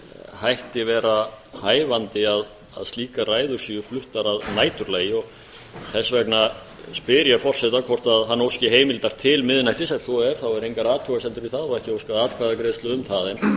hætti vera hæfandi að slíkar ræður séu fluttar að næturlagi þess vegna spyr ég forseta hvort hann óski heimildar til miðnættis ef svo er þá eru engar athugasemdir við það og ekki óskað atkvæðagreiðslu um það en